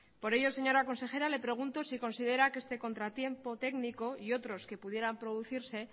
por ello señora consejera le pregunto si considera que este contratiempo técnico y otros que pudieran producirse